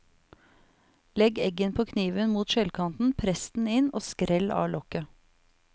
Legg eggen på kniven mot skjellkanten, press den inn og skrell av lokket.